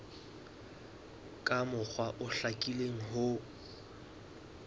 ka mokgwa o hlakileng ho